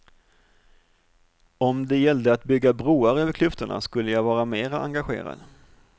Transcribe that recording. Om det gällde att bygga broar över klyftorna skulle jag vara mer engagerad.